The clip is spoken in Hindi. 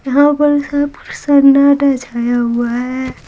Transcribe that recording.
यहां पर सब सन्नाटा छाया हुआ है।